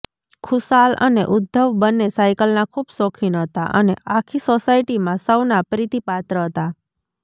ખુશાલ અને ઉદ્ધવ બંને સાઈકલના ખૂબ શોખીન હતા અને આખી સોસાયટીમાં સૌના પ્રીતિપાત્ર હતા